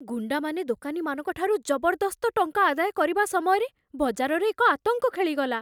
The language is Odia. ଗୁଣ୍ଡାମାନେ ଦୋକାନୀମାନଙ୍କ ଠାରୁ ଜବରଦସ୍ତ ଟଙ୍କା ଆଦାୟ କରିବା ସମୟରେ ବଜାରରେ ଏକ ଆତଙ୍କ ଖେଳିଗଲା।